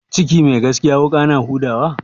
Ciki mai gaskiya wuƙa na huda wa?